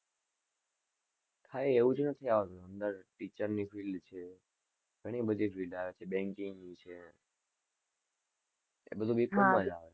કાંઈ એવું જ નથી આવતું, અંદર teacher ની field છે, ઘણી બધી field આવે છે, banking ની છે, આ બધું B. com. માં જ આવે,